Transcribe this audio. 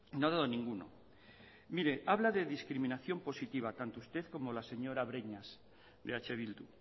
no ha dado ninguno mire habla de discriminación positiva tanto usted como la señora breñas de eh bildu